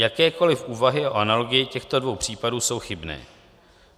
Jakékoliv úvahy o analogii těchto dvou případů jsou chybné.